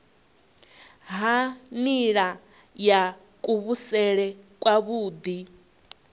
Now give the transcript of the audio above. ha nila ya kuvhusele kwavhui